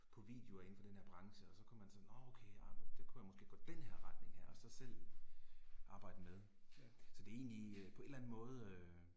På videoer indenfor denne her branche og så kunne man sådan nåh okay ah men, det kunne jeg måske gå den her retning her og så selv arbejde med. Så det er egentlig på en eller anden måde